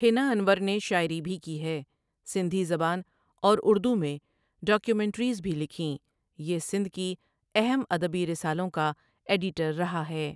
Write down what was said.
ہیںا انور نے شاعری بھی کی ہے سندھی زبان اور اردو میں ڈاکیومینٹریز بھی لکھیں یہ سندھ کی اہم ادبی رسالوں کا ایڈیٹر رہا ہے ۔